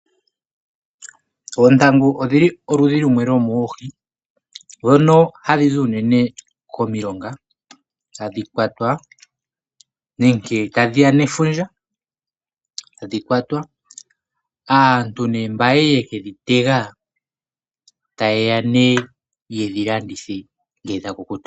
Oontangu odhili oludhi lumwe lwomoohi ndhono hadhi zi unene komilonga hadhi kwatwa nenge tadhiya nefundja. Tadhi kwatwa, aantu ne mba yali yeke dhi tega ta yeya ne yedhi landithe ngele dha kukuta.